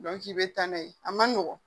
i bɛ taa n'a ye a man nɔgɔn